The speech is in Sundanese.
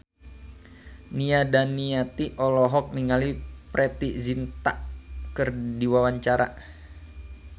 Nia Daniati olohok ningali Preity Zinta keur diwawancara